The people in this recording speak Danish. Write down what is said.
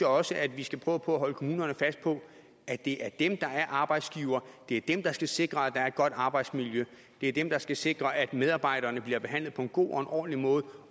også at vi skal prøve på at holde kommunerne fast på at det er dem der er arbejdsgivere det er dem der skal sikre at der et godt arbejdsmiljø det er dem der skal sikre at medarbejderne bliver behandlet på en god og en ordentlig måde